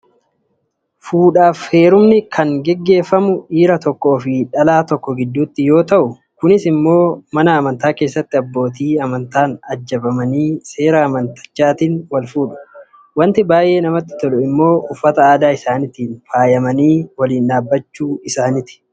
Fuudhaaf heerumni kan gaggeeffamu dhiira tokkoo fi dhalaa tokko gidduutti yoo ta'u, kunis immoo mana amantaa keessatti abbootii amantaan ajjabamanii seera amantichaatiin wal fuudhu. Wanti baay'ee namatti tolu immoo uffata aadaa isaaniitiin faayamanii waliin dhaabbachuu isaaniiti.